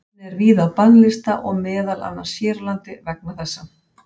Efnið er víða á bannlista og meðal annars hér á landi vegna þessa.